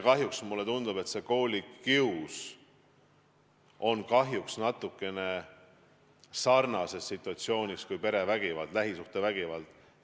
Ja mulle tundub, et koolikius on kahjuks natukene samasuguses situatsioonis kui perevägivald, lähisuhtevägivald.